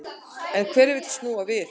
En hver vill snúa við?